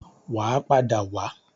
Wà á padà wá.